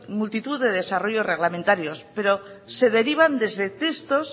multitud de desarrollo reglamentarios pero se derivan desde textos